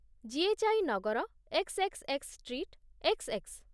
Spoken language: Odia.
G H I Nagar, X X X X street, X X.